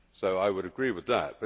I would agree with that.